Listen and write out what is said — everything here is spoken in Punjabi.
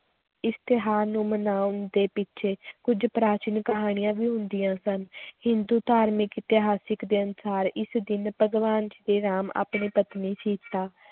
ਇਸ ਤਿਉਹਾਰ ਨੂੰ ਮਨਾਉਣ ਦੇ ਪਿੱਛੇ ਕੁੱਝ ਪ੍ਰਾਚੀਨ ਕਹਾਣੀਆਂ ਵੀ ਹੁੰਦੀਆਂ ਸਨ ਹਿੰਦੂ ਧਾਰਮਿਕ ਇਤਿਹਾਸਕ ਗ੍ਰੰਥਾਂ ਇਸ ਦਿਨ ਭਗਵਾਨ ਸ੍ਰੀ ਰਾਮ ਆਪਣੀ ਪਤਨੀ ਸੀਤਾ